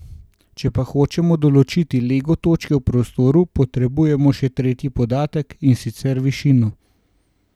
Če pa hočemo določiti lego točke v prostoru, potrebujemo še tretji podatek, in sicer višino.